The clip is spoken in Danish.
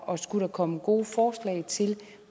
og skulle der komme gode forslag til